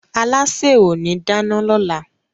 Alásè ò ní dáná lọ́la